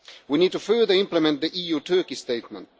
We need to further implement the EU Turkey statement.